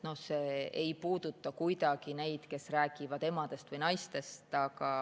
See ei puuduta kuidagi neid, kes räägivad emadest või naistest.